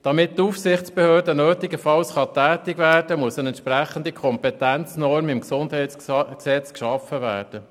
Damit die Aufsichtsbehörde nötigenfalls tätig werden kann, muss eine entsprechende Kompetenznorm im GesG geschaffen werden.